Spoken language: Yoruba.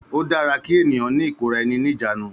Ó dára kí ènìyàn ní ìkóraẹni ní ìjánu